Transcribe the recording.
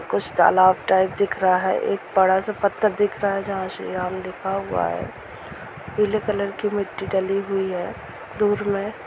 --कुछ तालाब टाइप दिख रहा है एक बडा सा पत्थर दिख रहा है जहां श्री राम लिखा हुआ है पीले कलर की मट्टी डली हुई है दूर में--